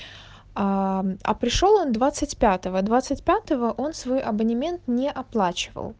ааа а пришёл он двадцать пятого двадцать пятого он свой абонемент не оплачивал